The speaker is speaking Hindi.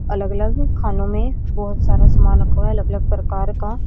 अलग अलग खानों में बहुत सारा सामान रखा हुआ है अलग अलग प्रकार का।